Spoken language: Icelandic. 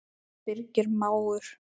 Birgir mágur.